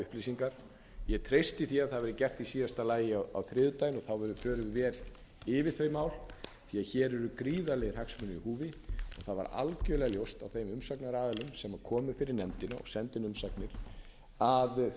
upplýsingar ég treysti því að það verði gert í síðasta lagi á þriðjudaginn og þá förum við vel yfir þau mál því að hér eru gríðarlegir hagsmunir í húfi það var algjörlega ljóst á þeim umsagnaraðilum sem komu fyrir nefndina og sendu inn umsagnir að þeir